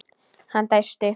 Hann dæsti.